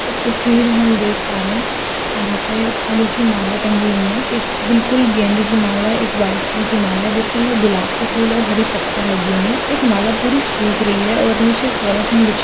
इस तस्वीर में हम देख पा रहे है यहां पे फूलो की माला टंगी हुई है एक बिलकुल गेंदे की माला है एक वाईट कलर की माला है जिसके अंदर गुलाब के फुल और हरी पत्तिया लग रही है एक माला सुख रही है और नीचे पॉलीथिन बिछी --